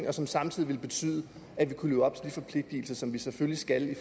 og som samtidig ville betyde at vi kunne leve op til de forpligtelser som vi selvfølgelig skal leve